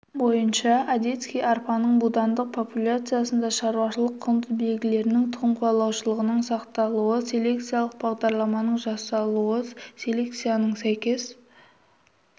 бойынша одесский арпаның будандық популяцияларында шаруашылық-құнды белгілерінің тұқымқуалағыштығының сақталуы селекциялық бағдарламаның жасалуы селекцияның сәйкес әдісін